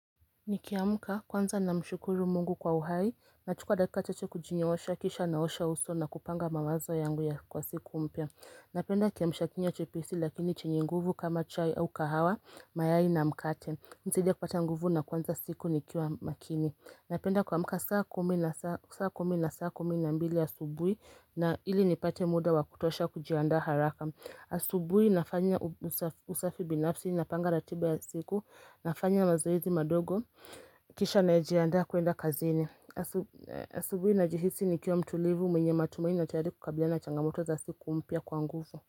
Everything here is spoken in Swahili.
Nikiamka kwanza namshukuru mungu kwa uhai, nachukua dakaka chache kujinyoosha, kisha naosha uso na kupanga mawazo yangu ya kwa siku mpya. Napenda kiamshakinywa chepesi lakini chenye nguvu kama chai au kahawa, mayai na mkate. Insaidia kupata nguvu na kuanza siku nikiwa makini. Napenda kuamka saa kumi na saa kumi na mbili asubui na ili nipate muda wa kutosha kujiandaa haraka. Asubui nafanya usafi binafsi napanga ratiba ya siku nafanya mazoezi madogo Kisha najiandaa kuenda kazini asub Asubui najihisi nikiwa mtulivu mwenye matumaini najaribu kukabilana changamoto za siku mpya kwa nguvu.